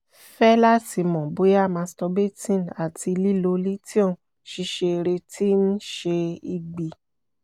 fẹ lati mọ boya masturbating ati lilo lithium ṣiṣere ti n ṣe igbi?